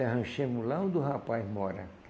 Arranchamos lá, onde o rapaz mora.